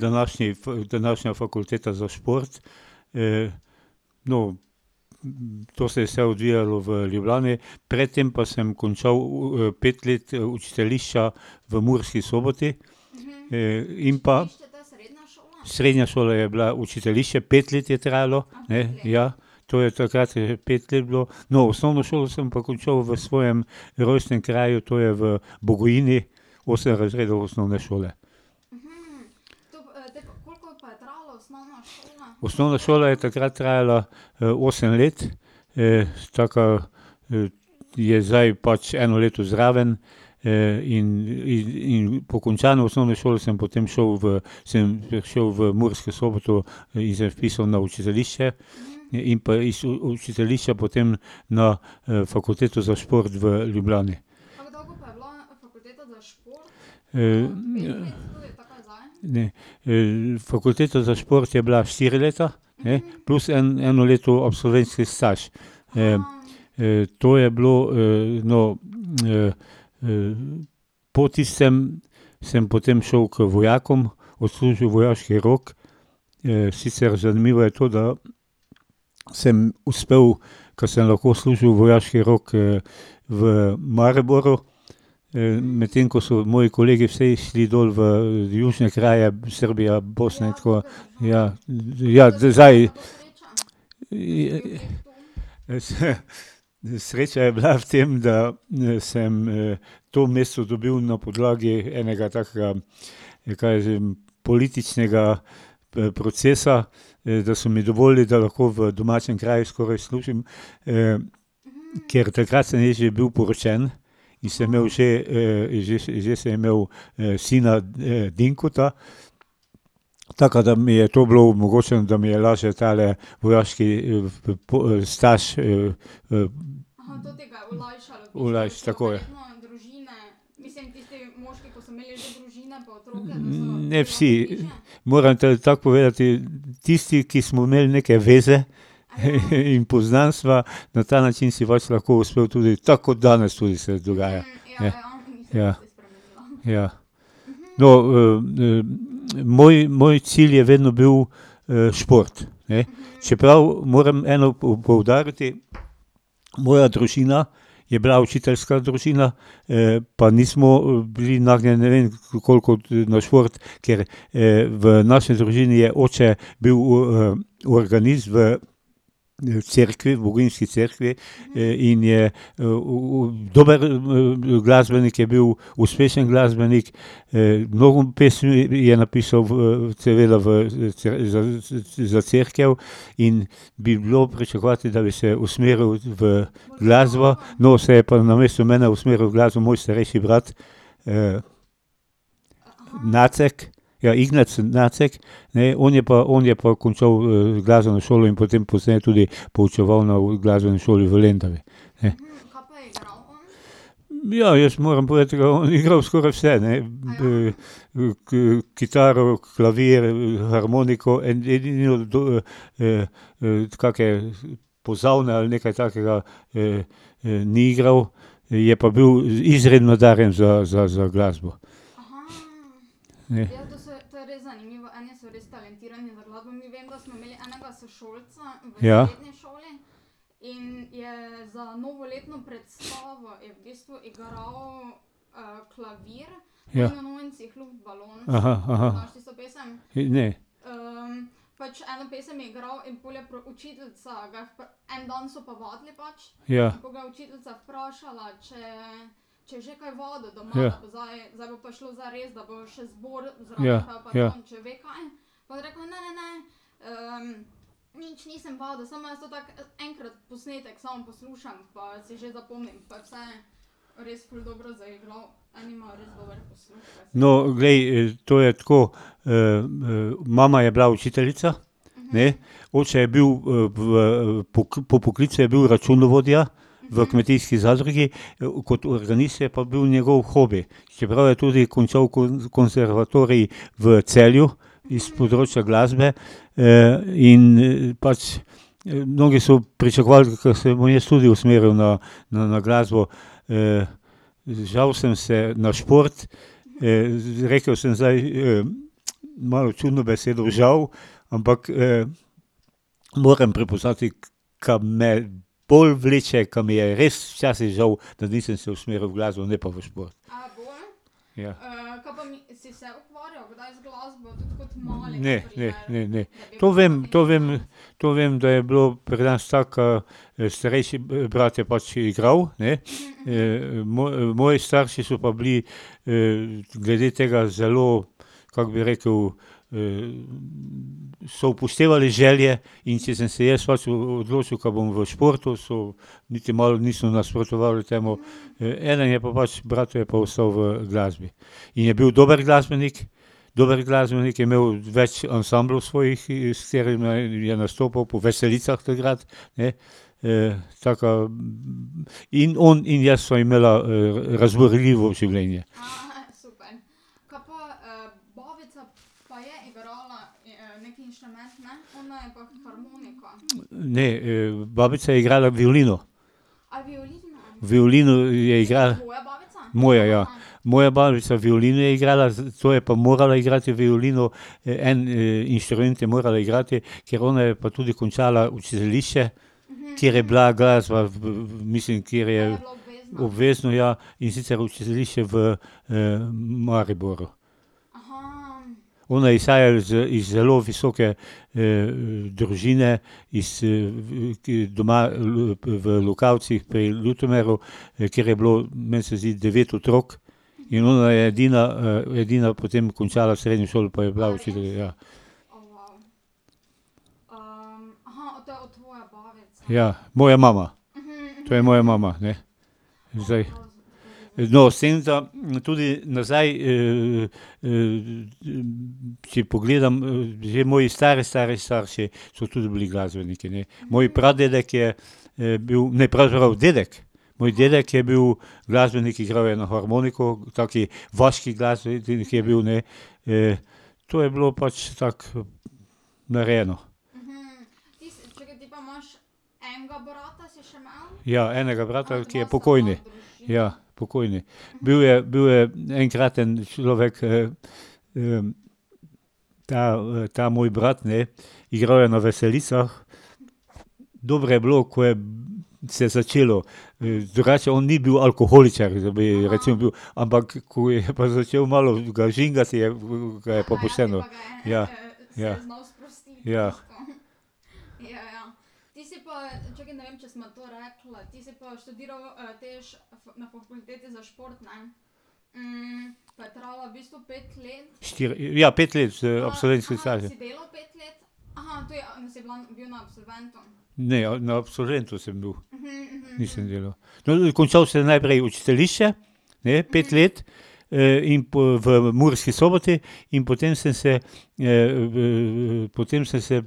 današnji današnja Fakulteta za šport. no, to se je vse odvijalo v Ljubljani, pred tem pa sem končal pet let učiteljišča v Murski Soboti. in pa ... Srednja šola je bila učiteljišče, pet let je trajalo, ne, ja. To je takrat pet let bilo, no, osnovno šolo sem pa končal v svojem rojstnem kraju, to je v Bogojini, osem razredov osnovne šole. Osnovna šola je takrat trajala osem let, taka je zdaj pač eno leto zraven, in, in po končano osnovni šoli sem potem šel v, sem šel v Mursko Soboto in se vpisal na učiteljišče in pa iz učiteljišča potem na Fakulteto za šport v Ljubljani. ... Ne, fakulteta za šport je bila štiri leta, ne, plus eno leto absolventski staž. to je bilo, no, po tistem sem potem šel k vojakom, odslužil vojaški rok. sicer zanimivo je to, da sem uspel, ka sem lahko služil vojaški rok v Mariboru, medtem ko so moji kolegi vsi šli dol v južne kraje, Srbija, Bosna in tako. Ja, ja zdaj ... ... sreča je bila v tem, da sem to mesto dobil na podlagi enega takega, kaj jaz vem, političnega procesa, da so mi dovolili, da lahko v domačem kraju skoraj služim Ker takrat sem že bil poročen in sem imel že že, že sem imel sina Dinkota. Taka, da mi je to bilo omogočeno, da mi je lažje tale vojaški staž ... tako je. Ne vsi. Moram ti tako povedati, tisti, ki smo imeli neke zveze, in poznanstva, na ta način si pač lahko uspel, tako kot danes tudi se dogaja. Ja. Ja. Ja. No, moj, moj cilj je vedno bil šport, ne. Čeprav moram eno poudariti. Moja družina je bila učiteljska družina, pa nismo bili nagnjeni ne vem koliko na šport, ker v naši družini je oče bil v organist v cerkvi, v ogrinski cerkvi, in je dober glasbenik je bil, uspešen glasbenik, mnogo pesmi je napisal v seveda v za cerkev in bi bilo pričakovati, da bi se usmeril v glasbo, no, se je pa namesto mene usmeril v glasbo moj starejši brat, Nacek, Ignac, Nacek, ne. On je pa, on je pa končal glasbeno šolo in potem pozneje tudi poučeval v glasbeni šoli v Lendavi, ne. Ja, jaz moram povedati, igral, on je igral skoraj vse, ne. kitaro, klavir, harmoniko, , kake pozavne ali nekaj takega ni igral, je pa bil izredno nadarjen za, za, za glasbo. Ne. Ja. Ja. Ne. Ja. Ja. Ja, ja. No, glej, to je tako, mama je bila učiteljica, ne, oče je bil v po poklicu je bil računovodja v kmetijski zadrugi, kot organist je pa bil njegov hobi, čeprav je tudi končal konservatorij v Celju iz področja glasbe. in pač mnogi so pričakovali, ka se bom jaz tudi usmeril na na glasbo Žal sem se na šport, rekel sem zdaj malo čudno besedo, žal, ampak moram prepoznati, ka me bolj vleče, ka mi je res včasih žal, da nisem se usmeril v glasbo, ne pa v šport. Ja. Ne, ne, ne, ne. To vem, to vem, to vem, da je bilo pri nas taka, starejši brat je pač igral, ne, moji starši so pa bili glede tega zelo, kako bi rekel, so upoštevali želje, in če sem se jaz pač odločil, da bom v športu, niti malo niso nasprotovali temu. je pa pač, brat je pa ostal v glasbi. In je bil dober glasbenik, dober glasbenik, je imel več ansamblov svojih, s katerimi je nastopal po veselicah takrat, ne. taka ... In on in jaz sva imela razburljivo življenje. Ne, babica je igrala violino. Violino je igrala ... Moja, ja. Moja babica violino igrala, to je pa morala igrati violino, en inštrument je morala igrati, ker ona je pa tudi končala učiteljišče, kjer je bila glasba mislim, ker je ... Obvezno, ja. In sicer učiteljišče v Mariboru. Ona izhaja z, iz zelo visoke družine iz doma v Lokavcih pri Ljutomeru, kjer je bilo, meni se zdi, devet otrok. In ona je edina edina potem končala srednjo šolo pa je bila ja. Ja, moja mama. To je moja mama, ne. Zdaj ... No, s tem, da tudi nazaj če pogledam, zdaj moji stari, stari starši, so tudi bili glasbeniki, ne. Moj pradedek je bil ne, pravzaprav dedek, moj dedek je bil glasbenik, igral je na harmoniko, v taki, vaški je bil, ne. to je bilo pač tako narejeno. Ja, enega brata, ki je pokojni. Ja, pokojni. Bil je, bil je enkraten človek, ta ta moj brat, ne. Igral je na veselicah. Dobro je bilo, ko je se začelo. drugače on ni bil alkoholičar, da bi recimo bil, ampak ko je pa začel malo ga žingati, je ga je pa pošteno. Ja, ja. Ja. Štiri, ja, pet let z absolventskim stažem. Ne, na absolventu sem bil. Nisem delal. Končal samo najprej učiteljišče, ne, pet let, in v Murski Soboti in potem sem se, potem sem se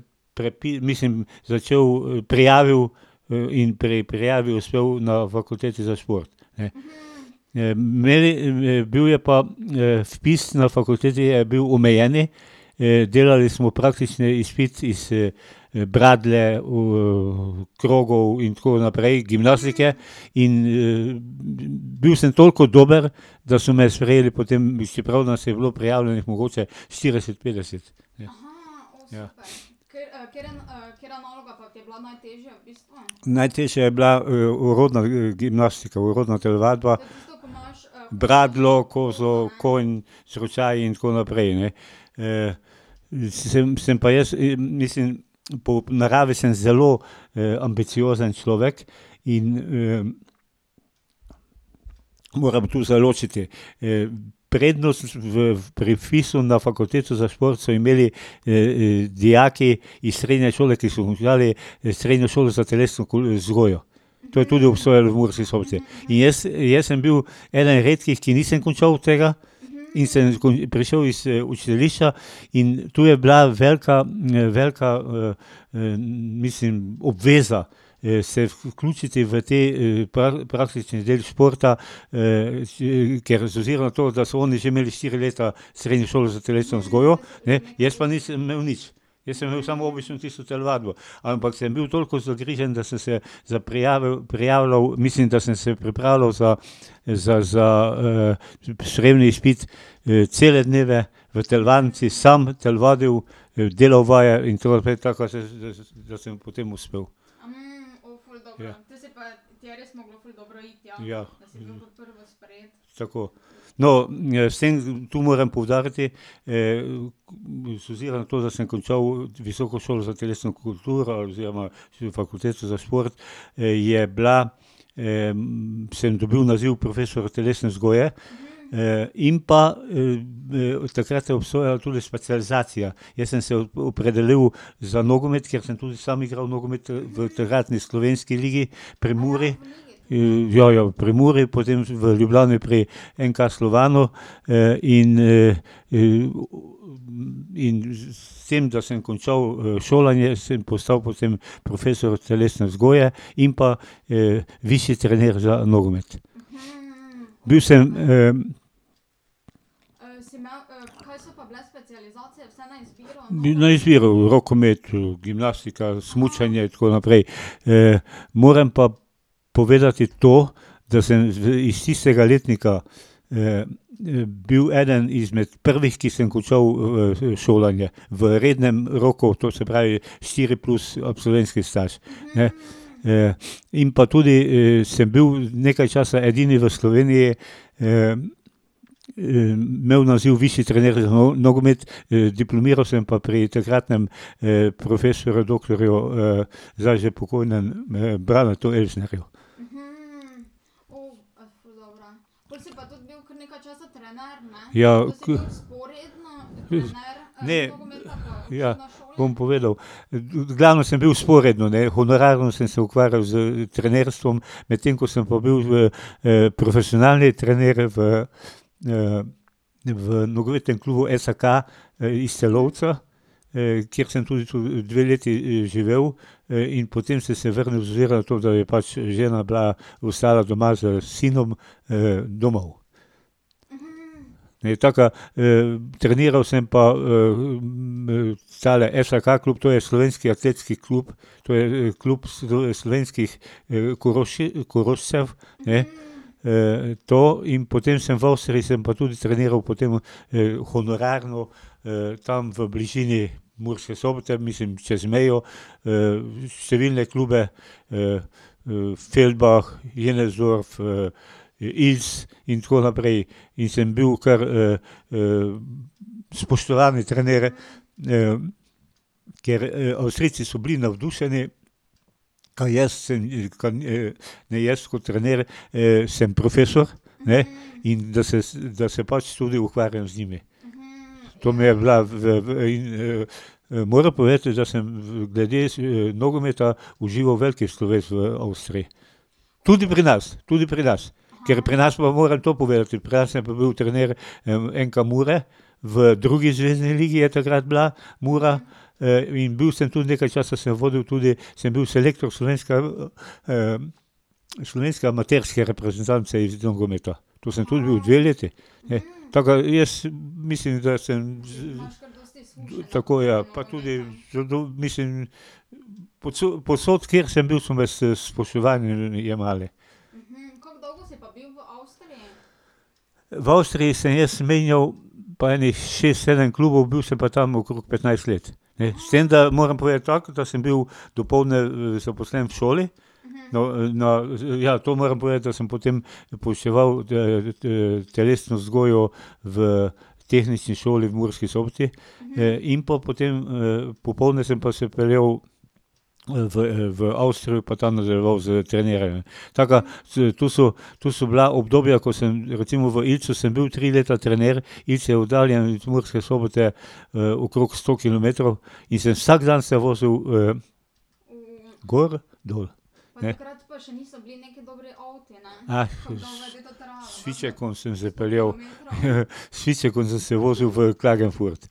mislim, začel, prijavil in pri prijavi uspel na fakulteti za šport, ne. meni, bil je pa vpis na fakulteti je bil omejen, delali smo praktični izpit iz bradlje v krogu in tako naprej, gimnastike, in bil sem toliko dober, da so me sprejeli potem, čeprav nas je bilo prijavljenih mogoče štirideset, petdeset. Najtežja je bila orodna gimnastika, orodna telovadba. Bradljo, kozo, konj z ročaji in tako naprej, ne. sem, sem pa jaz, mislim, po naravi sem zelo ambiciozen človek in moram tu . prednost v pri vpisu na fakulteto za šport so imeli dijaki iz srednje šole, ki so končali srednjo šolo za telesno vzgojo. To je tudi obstajalo v Murski Soboti. In jaz, jaz sem bil eden redkih, ki nisem končal tega in sem prišel iz učiteljišča, in tu je bila velika, velika mislim, obveza, se vključiti v te praktični del športa, ker z ozirom na to, da so oni že imeli štiri leta srednje šole za telesno vzgojo, ne, jaz pa nisem imel nič. Jaz sem imel samo obično tisto telovadbo. Ampak sem bil toliko zagrižen, da sem se za prijavil, prijavljal, mislim, da sem se pripravljal za za, za sprejemni izpit cele dneve, v telovadnici sam telovadil, delal vaje in tako naprej, tako da da sem potem uspel. Ja. Ja. Tako. No, vseeno tu moram poudariti, z ozirom na to, da sem končal visoko šolo za telesno kulturo oziroma fakulteto za šport, je bila, sem dobil naziv profesor telesne vzgoje, in pa takrat se tudi specializacija. Jaz sem se opredelil za nogomet, ker sem tudi sam igral nogomet, v takratni slovenski ligi, pri Muri. ja, ja, pri Muri potem v Ljubljani pri NK Slovanu in in s tem, da sem končal šolanje, sem postal potem profesor telesne vzgoje in pa višji trener za nogomet. Bil sem ... rokomet gimnastika, smučanje in tako naprej, moram pa povedati to, da sem iz tistega letnika bil eden izmed prvih, ki sem končal šolanje v rednem roku, to se pravi štiri plus absolventski staž, ne. in pa tudi sem bil nekaj časa edini v Sloveniji, imel naziv višji trener za nogomet, diplomiral sem pa pri takratnem profesorju doktorju zdaj že pokojnem, [ime in priimek]. Ja ... Ne. Ja, bom povedal. V glavnem sem bil vzporedno, ne, honorarno sem se ukvarjal s trenerstvom, medtem ko sem pa bil profesionalni trener v v nogometnem klubu SAK iz Celovca, kjer sem tudi dve leti živel. in potem sem se vrnil z ozirom na to, da je pač žena bila, ostala doma s sinom, domov. treniral sem pa tale SAK klub to, je Slovenski atletski klub, to je klub slovenskih Korošcev, ne. to in potem sem v Avstriji, sem pa tudi trenirali potem honorarno, tam v bližini Murske Sobote, mislim, čez mejo, številne klube. Feldbach, Jennersdorf, in tako naprej. In sem bil kar spoštovan trener. ker Avstrijci so bili navdušeni, ker jaz sem, kar ne, jaz kot trener sem profesor in da se pač tudi ukvarjam z njimi. To mi je bila in moram povedati, da sem glede nogometa užival velik sloves v Avstriji. Tudi pri nas, tudi pri nas! Ker pri nas pa moram to povedati. Pri nas sem pa bil trener NK Mure, v drugi zvezni ligi je takrat bila, Mura, in bil sem tudi nekaj časa, sem vodil tudi, sem bil selektor slovenske amaterske reprezentance iz nogometa. To sem tudi bil dve leti. Tako da jaz mislim, da sem ... Tako ja, pa tudi mislim, povsod, kjer sem bil, so me s spoštovanjem jemali. V Avstriji sem jaz menjal pa ene šest, sedem klubov, bil sem pa tam okrog petnajst let, ne. S tem da moram povedati tako, da sem bil dopoldne zaposlen v šoli, na, ja, to moram povedati, da sem potem poučeval telesno vzgojo v tehnični šoli v Murski Soboti. in pa potem popoldne sem pa se peljal v v Avstrijo pa tam nadaljeval s treniranjem. Tako da, to so, to so bila obdobja, ko sem recimo, v Ilzu sem bil tri leta trener, Ilz je oddaljen od Murske Sobote okrog sto kilometrov in sem vsak dan se vozil gor, dol, ne. ... S fičkom sem se peljal. S fičkom sem se vozil v Klagenfurt.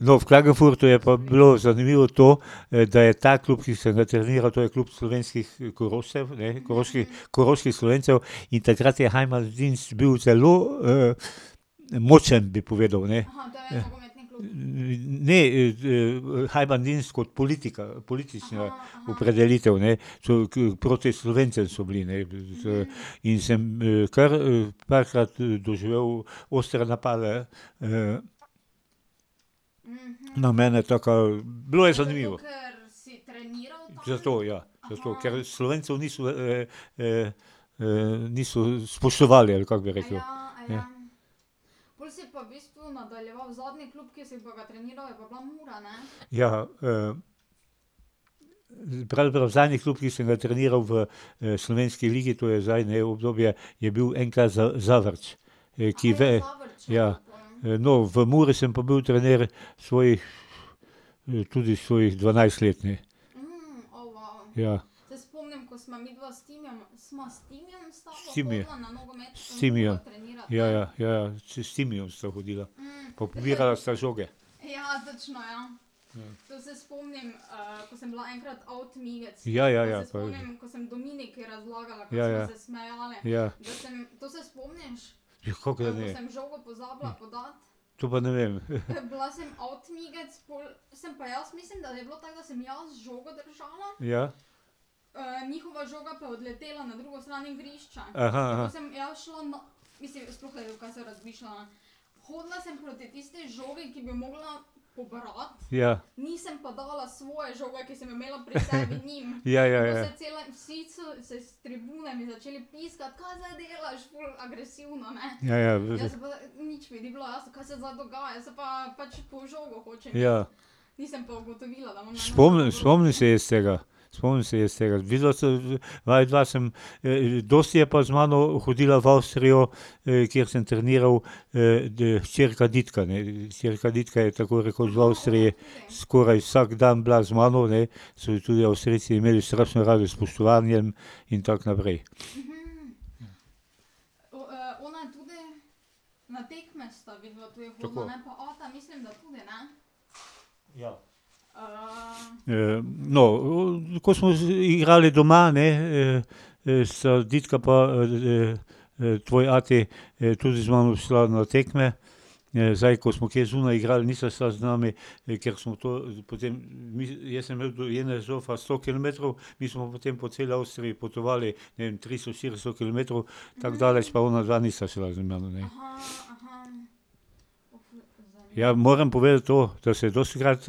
No, v Klagenfurtu je pa bilo zanimivo to, da je ta klub, ki sem ga treniral, to je klub slovenskih Korošcev, ne, Koroških Slovencev in takrat je Heimatdienst bil zelo močen bi povedal, ne. ne, Heimatdienst kot politika, politična opredelitev, ne. To proti Slovencem so bili, ne, in sem kar parkrat doživel ostre napade, ... Na mene, take, bilo je zanimivo. Zato, ja, zato. Ker Slovencev niso, niso spoštovali, ali kako bi rekel. Ja Pravzaprav zadnji klub, ki sem ga treniral v slovenski ligi, to je zdaj, ne, obdobje, je bil NK Zavrč, ki v ... Ja. No, v Muri sem pa bil trener svojih, tudi svojih dvanajst let, ne. Ja. S ... S Timijem, ja, ja, ja, ja, s Timijem sta hodila. Pa pobirala sta žoge. Ja, ja, ja. Ja, ja. Ja. Ja, kako da ne? To pa ne vem. Ja. Ja. ja, ja, ja. Ja, ja. Ja. Spomnim, spomnim se jaz tega. Spomnim se jaz tega, vidva sta vaju dva sem, dosti je pa z mano hodila v Avstrijo, kjer sem treniral, hčerka Ditka, ne, hčerka Ditka je tako rekoč v Avstriji skoraj vsak dan bila z mano, ne, so jo tudi Avstrijci imeli strašno radi, s spoštovanjem in tako naprej. Tako. no, ko smo igrali doma, ne, sta Ditka pa tvoj ati tudi z mano šla na tekme. zdaj, ko smo kje zunaj igrali, nista šla z nami, ker smo to potem, jaz sem imel do Jennersdorfa sto kilometrov, mi smo pa potem po celi Avstriji potovali, ne vem, tristo, štiristo kilometrov, tako daleč pa onadva nista šla z mano, ne. Ja, moram povedati to, da se dostikrat